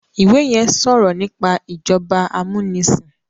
ìwé yén sọrọ nípa ìjọba amunisin